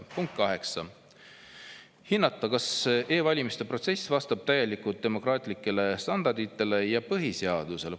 Punkt 8, hinnata, kas e-valimiste protsess vastab täielikult demokraatlikele standarditele ja põhiseadusele.